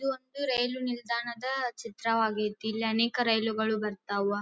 ಇದು ಒಂದು ರೈಲು ನಿಲ್ದಾಣದ ಚಿತ್ರವಾಗೈತಿ. ಇಲ್ಲಿ ಅನೇಕ ರೈಲುಗಳು ಬರ್ತಾವಾ.